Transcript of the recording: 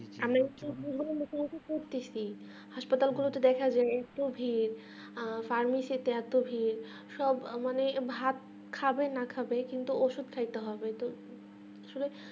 হাসপাতাল গুলোতে দেখা যাই এতো ভিড় আর ভিড় সব মানে ভাত খাবে না খাবে কিন্তু ওষুধ খাইতে হবে আসলে